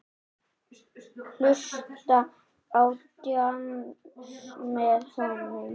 Hlusta á djass með honum.